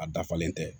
A dafalen tɛ